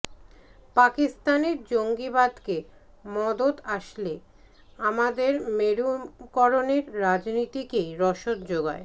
পাকিস্তানের জঙ্গিবাদকে মদত আসলে আমাদের মেরুকরণের রাজনীতিকেই রসদ জোগায়